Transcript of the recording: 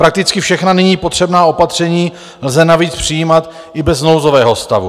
Prakticky všechna nyní potřebná opatření lze navíc přijímat i bez nouzového stavu.